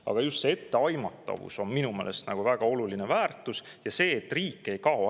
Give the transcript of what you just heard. Aga just see etteaimatavus on minu meelest väga oluline väärtus ja see, et riik ei kao ära.